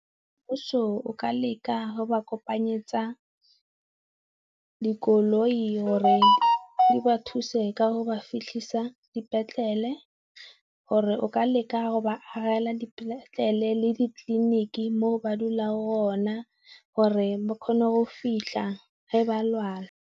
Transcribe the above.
Mmuso o ka leka go ba kopanyeletsa dikoloi gore di ba thuse ka go ba fitlhisa dipetlele, gore o ka leka go ba agela dipetlele le ditleliniki mo ba dulang gona gore ba kgone go fitlha ga ba lwala.